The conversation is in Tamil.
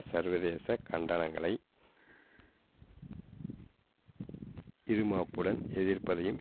சர்வதேச கண்டனங்களை இறுமாப்புடன் எதிர்ப்பதையும்